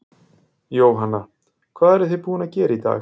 Jóhanna: Hvað eruð þið búin að gera í dag?